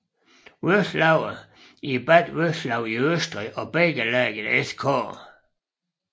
Vöslauer i Bad Vöslau i Østrig og Bækkelagets SK